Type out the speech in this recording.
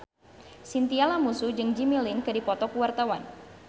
Chintya Lamusu jeung Jimmy Lin keur dipoto ku wartawan